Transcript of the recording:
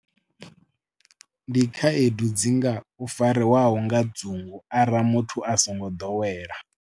Ndi khaedu dzi nga u fariwaho nga dzungu arali muthu a songo dowela.